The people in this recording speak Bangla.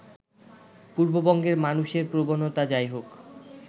পূর্ববঙ্গের মানুষের প্রবণতা যাই হোক